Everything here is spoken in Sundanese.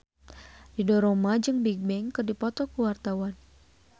Ridho Roma jeung Bigbang keur dipoto ku wartawan